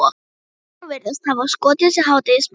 Gröfustjórarnir virðast hafa skotist í hádegismat.